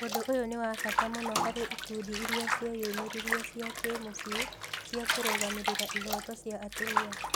Ũndũ ũyũ nĩ wa bata mũno harĩ ikundi iria ciĩyumĩririe cia kĩmũciĩ cia kũrũgamĩrĩra ihooto cia atumia.